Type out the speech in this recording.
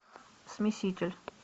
смеситель